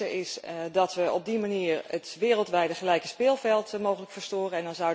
Ten eerste vind ik dat we op die manier het wereldwijde gelijke speelveld mogelijk verstoren.